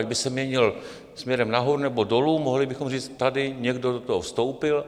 Ať by se měnil směrem nahoru, nebo dolů, mohli bychom říct, tady někdo do toho vstoupil.